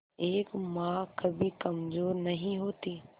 एक मां कभी कमजोर नहीं होती